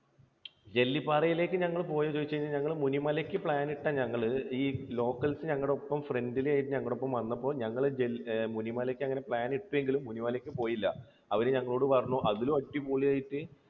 ജെല്ലിപാറയിലേക്ക് നിങ്ങൾ പോയോ എന്ന് ചോദിച്ചു കഴിഞ്ഞാൽ ഞങ്ങൾ മുനിമലയ്ക്ക് plan ഇട്ട ഞങ്ങൾ ഈ locals ഞങ്ങളുടെ ഒപ്പം, friendly ആയിട്ട് ഞങ്ങളുടെ എപ്പോൾ വന്നപ്പോൾ ഞങ്ങൾ മുനിമലക്ക് അങ്ങനെ പ്ലാൻ ഇട്ടെങ്കിലും മുനിമലയ്ക്ക് പോയില്ല. അവര് ഞങ്ങളോട് പറഞ്ഞു അതിലും അടിപൊളിയായിട്ട്